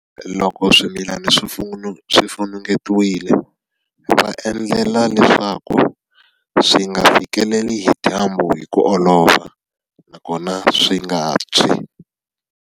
Loko swimilana swi funengetiwile va endlela leswaku swi nga fikeleli hi dyambu hi ku olova, nakona swi nga tshwi.